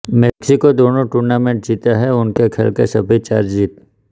Mexico दोनों tournament जीता है उनके खेल के सभी चार जीत